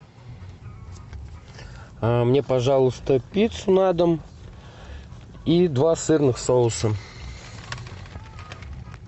мне пожалуйста пиццу на дом и два сырных соуса